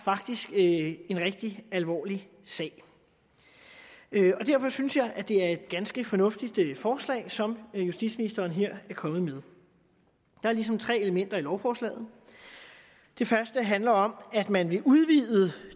en rigtig alvorlig sag derfor synes jeg at det er et ganske fornuftigt forslag som justitsministeren her er kommet med der er ligesom tre elementer i lovforslaget det første handler om at man vil udvide